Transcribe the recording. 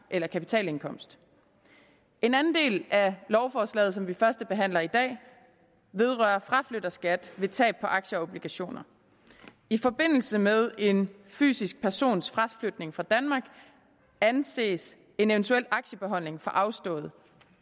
eller kapitalindkomst en anden del af lovforslaget som vi førstebehandler i dag vedrører fraflytterskat ved tab på aktier og obligationer i forbindelse med en fysisk persons fraflytning fra danmark anses en eventuel aktiebeholdning for afstået